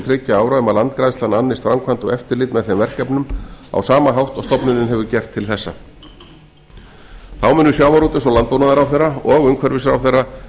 þriggja ára um að landgræðslan annist framkvæmd og eftirlit með þeim verkefnum á sama hátt og stofnunin hefur gert til þessa þá munu sjávarútvegs og landbúnaðarráðherra og umhverfisráðherra